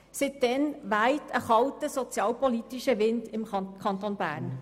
Seit damals weht ein sozialpolitisch kalter Wind im Kanton Bern.